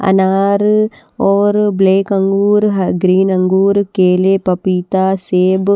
अनार और ब्लैक अंगूर ह ग्रीन अंगूर केले पपीता सेब --